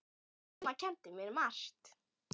Amma kenndi mér margt.